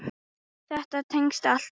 Þetta tengist allt.